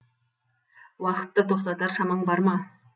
уақытты тоқтатар шамаң бар ма